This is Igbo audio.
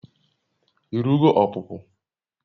I rugo ọpụpụ?